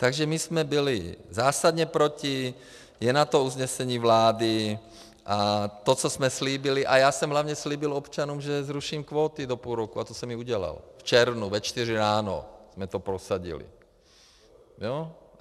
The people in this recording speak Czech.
Takže my jsme byli zásadně proti, je na to usnesení vlády a to, co jsme slíbili - a já jsem hlavně slíbil občanům, že zruším kvóty do půl roku, a to jsem i udělal, v červnu ve čtyři ráno jsme to prosadili.